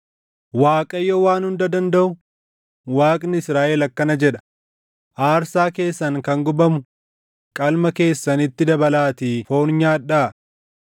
“‘ Waaqayyo Waan Hunda Dandaʼu, Waaqni Israaʼel akkana jedha: Aarsaa keessan kan gubamu qalma keessanitti dabalaatii foon nyaadhaa!